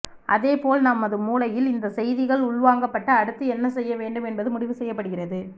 அதே போல் நமது மூளையில் இந்த செய்திகள் உள்வாங்கப்பட்டு அடுத்து என்ன செய்யவேண்டும் என்பது முடிவு செய்யப்படுகிறது